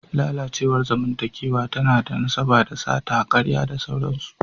Lalacewar zamantakewa tana da nasaba da sata, karya da sauransu.